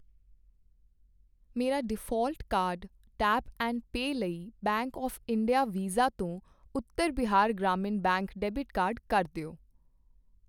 ਮੇਰਾ default card tap and pay ਲਈ bank of India Visa ਤੋਂ Uttar Bihar Gramin bank debit card ਕਰ ਦਿਓ